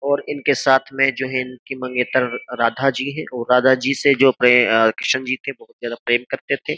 और इनके साथ में जो है इनकी मंगेतर राधा जी है और राधा जी से जो किशन जी थे बहुत ज्यादा प्रेम करते थे।